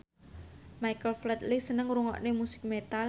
Michael Flatley seneng ngrungokne musik metal